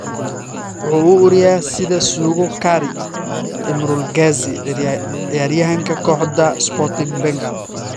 "Waxa uu u uriyaa sida suugo curry" - Imrul Gazi, ciyaaryahanka kooxda Sporting Bengal.